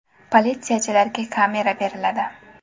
Politsiyachilarga kamera beriladi.